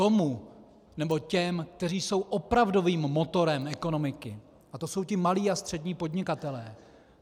Tomu nebo těm, kteří jsou opravdovým motorem ekonomiky, a to jsou ti malí a střední podnikatelé.